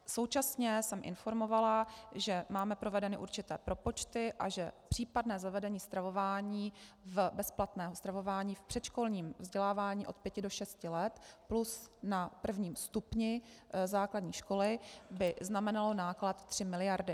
Současně jsem informovala, že máme provedené určité propočty a že případné zavedení stravování v bezplatném stravování v předškolním vzdělávání od 5 do 6 let plus na prvním stupni základní školy by znamenalo náklad 3 miliardy.